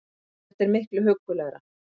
Þetta er miklu huggulegra